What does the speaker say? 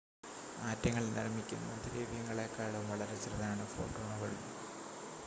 ആറ്റങ്ങൾ നിർമ്മിക്കുന്ന ദ്രവ്യങ്ങളെക്കാളും വളരെ ചെറുതാണ് ഫോട്ടോണുകൾ